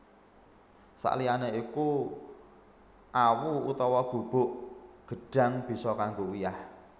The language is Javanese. Sakliyané iku awu utawa bubuk gedhang bisa kanggo uyah